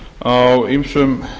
fer á ýmsum